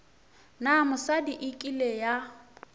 na mosadi e kile ya